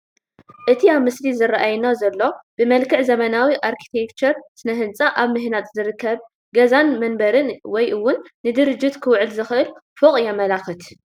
እቲ ኣብቲ ምስሊ ዝራኣየና ዘሎ ብመልክዕ ዘበናዊ ኣርክቴክቸርን ስነ ህንፃን ኣብ ምህናፅ ዝርከብ ገዛን መንበርን ወይ እውን ንድርጅት ክውዕል ዝኽእል ፎቕ የመላኽት፡፡